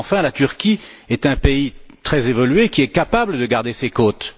Car enfin, la Turquie est un pays très évolué qui est capable de garder ses côtes.